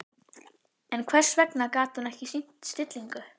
En hvers vegna gat hún ekki sýnt stillingu?